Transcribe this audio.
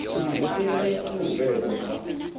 maitele a u bveledzwa ha